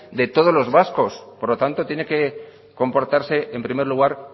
de todos los vascos por lo tanto tiene que comportarse en primer lugar